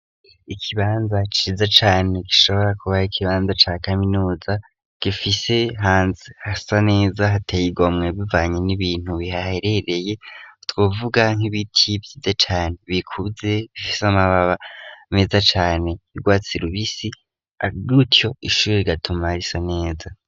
ikibanza ciza cane gishobora kubaha ikibanza cya kaminuza gifise hanze hasa neza hateye igomwe bivanye n'ibintu bihaherereye twuvuga nk'ibitibyiye cane bikubze gifise amababa meza cane irwatsirubisi agutyo ishuri gatuma risa neza